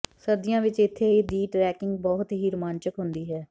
ਸਰਦੀਆਂ ਵਿਚ ਇੱਥੇ ਦੀ ਟ੍ਰੈਕਿੰਗ ਬਹੁਤ ਹੀ ਰੁਮਾਂਚਕ ਹੁੰਦੀ ਹੈ